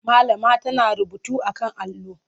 Malama tana rubutu a kan allo.